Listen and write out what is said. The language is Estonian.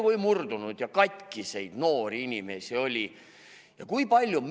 Murdunud ja katkiseid noori inimesi oli palju.